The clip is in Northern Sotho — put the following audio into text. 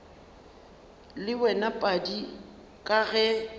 le wena padi ka ge